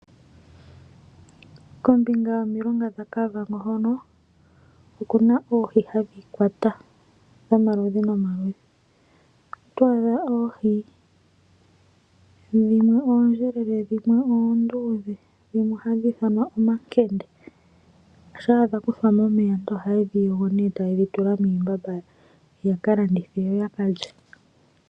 Kombinga yomilonga dhaKavango oku na oohi dhomaludhi nomaludhi hadhi kwatwa. Oto adha oohi dhimwe oondjelele dhimwe oonduudhe. Dhimwe ohadhi ithanwa omakende. Shampa dha kuthwa mo momeya aantu ohaye dhi yogo nokudhi tula miimbamba ya ka landithe yo ya ka lye.